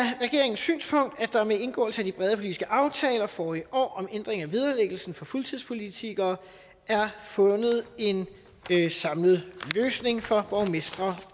regeringens synspunkt at der med indgåelse af de brede politiske aftaler forrige år om ændring af vederlæggelsen for fuldtidspolitikere er fundet en samlet løsning for borgmestre